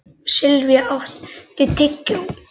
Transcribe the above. Silvía, áttu tyggjó?